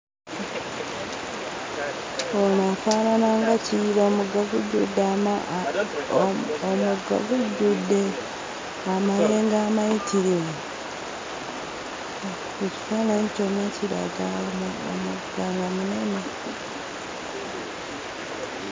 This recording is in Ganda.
Ono afaanana nga Kiyira; omugga gujjudde ama omugga gujjudde amayengo amayitirivu! Ekifaananyi kyonna kiraga omugga nga munene.